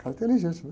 Cara inteligente, né?